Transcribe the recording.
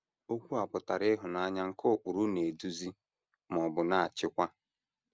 Okwu a pụtara ịhụnanya nke ụkpụrụ na - eduzi ma ọ bụ na - achịkwa.